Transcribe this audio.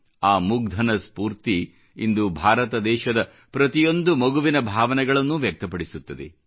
ಆ ಮುಗ್ಧನ ಸ್ಪೂರ್ತಿ ಇಂದು ಭಾರತ ದೇಶದ ಪ್ರತಿಯೊಂದು ಮಗುವಿನ ಭಾವನೆಗಳನ್ನು ವ್ಯಕ್ತಪಡಿಸುತ್ತದೆ